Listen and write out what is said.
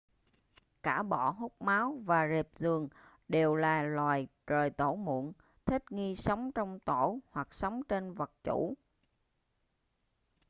cả bọ hút máu và rệp giường đều là loài rời tổ muộn thích nghi sống trong tổ hoặc sống trên vật chủ